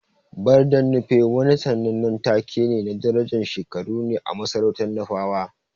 Barden Nupe wani sannanen take na darajan shekaru ne a masarautan Nufawa.